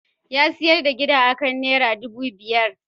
Ya sayar da gidan akan Naira dubu biyar.